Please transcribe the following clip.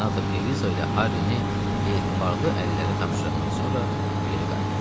Senator Eliza ilə Harrini etibarlı əllərə tapşırandan sonra geri qayıtdı.